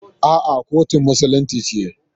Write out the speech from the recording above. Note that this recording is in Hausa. A'a, kotun musulunci ce.